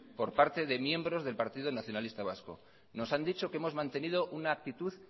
por parte de miembros del partido nacionalista vasco nos han dicho que hemos mantenido una actitud